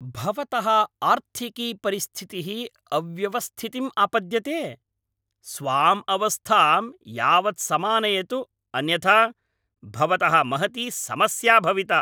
भवतः आर्थिकी परिस्थितिः अव्यवस्थितिम् आपद्यते! स्वाम् अवस्थां यावत्समानयतु अन्यथा भवतः महती समस्या भविता।